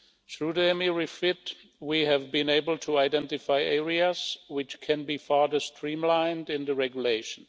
Through the EMIR REFIT, we have been able to identify areas which can be further streamlined in the regulation.